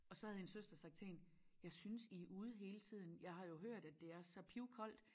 Og så havde hendes søster sagt til hende jeg synes i er ude hele tiden jeg har jo hørt at det er så pivkoldt